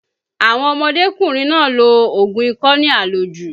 Àwọn ọmọdékùnrin náà lo oògùn ikọ́ ní àlòjù